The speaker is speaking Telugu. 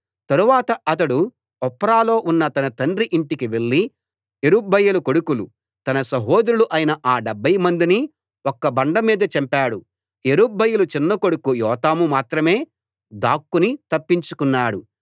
తరువాత అతడు ఒఫ్రాలో ఉన్న తన తండ్రి యింటికి వెళ్లి యెరుబ్బయలు కొడుకులు తన సహోదరులు అయిన ఆ డెబ్భై మందిని ఒక్క బండ మీద చంపాడు యెరుబ్బయలు చిన్న కొడుకు యోతాము మాత్రమే దాక్కుని తప్పించుకున్నాడు